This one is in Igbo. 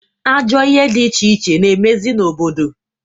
Ajọ ihe di iche iche na-emezị n'obodo.